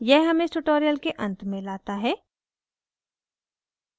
यह हमें इस tutorial के अंत में लाता है